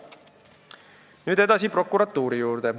Nüüd prokuratuuri juurde.